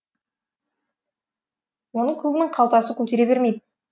оны көбінің қалтасы көтере бермейді